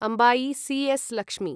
Ambai C S. Lakshmi